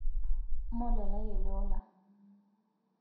molalai ele ola